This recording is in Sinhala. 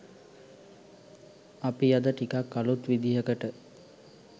අපි අද ටිකක්‌ අලුත් විදිහකට